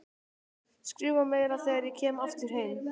Skrifa meira þegar ég kem aftur heim.